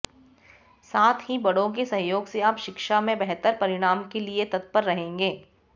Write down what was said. साथ ही बड़ों के सहयोग से आप शिक्षा में बेहतर परिणाम के लिये तत्पर रहेंगे